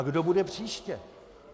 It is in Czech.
A kdo bude příště?